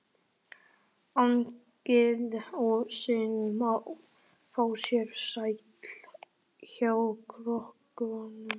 Agnes og Svenni fá sér sæti hjá krökkunum.